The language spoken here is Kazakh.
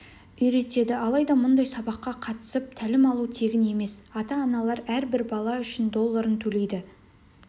үйретеді алайда мұндай сабаққа қатысып тәлім алу тегін емес ата-аналар әрбір бала үшін долларын төлейді